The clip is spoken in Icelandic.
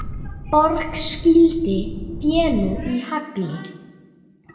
Borg skýldi fénu í hagli.